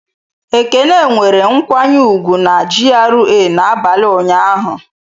Ekene nwere nkwanye ùgwù na GRA n'abalị ụnyaahụ.